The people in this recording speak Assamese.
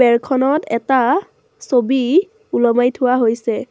বেৰখনত এটা ছবি ওলোমাই থোৱা হৈছে।